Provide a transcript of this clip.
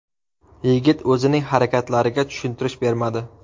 Yigit o‘zining harakatlariga tushuntirish bermadi.